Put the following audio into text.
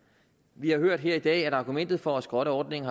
vi har hørt her i dag at argumentet for at skrotte ordningen